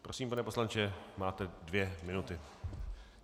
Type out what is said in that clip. Prosím, pane poslanče, máte dvě minuty.